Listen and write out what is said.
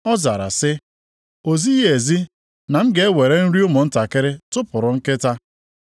Ọ zara sị, “O zighị ezi na a ga-ewere nri ụmụntakịrị tụpụrụ nkịta.”